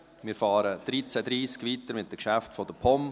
Wir fahren um 13.30 Uhr mit den Geschäften der POM fort.